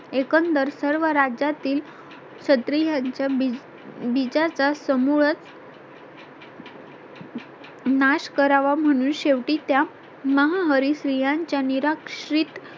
एकंदर सर्व राज्यातील क्षत्रीय च्या बीजा चा समूळच नाश करावा म्हणून शेवटी त्या माहाहरी स्त्रियांचा निराक्षित